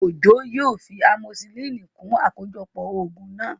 Òjó yóò fi amosisilínì kún àkójọpọ̀ ògùn náà